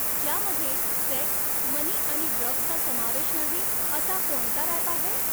ज्यामध्ये sex money आणि ड्रग्सचा समावेश नाही असा कोणता रॅप आहे?